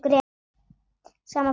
Sama fólk.